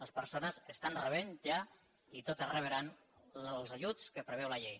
les persones estan rebent ja i totes rebran els ajuts que preveu la llei